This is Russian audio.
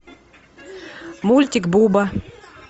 мультик буба